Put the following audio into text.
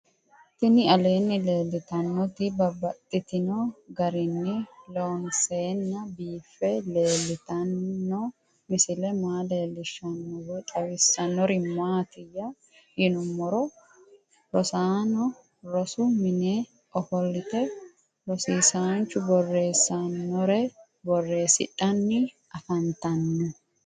Tinni aleenni leelittannotti babaxxittinno garinni loonseenna biiffe leelittanno misile maa leelishshanno woy xawisannori maattiya yinummoro rosaanno rosu minne offolitte rosiisanchu borreesinnore borreesidhanni affanttanno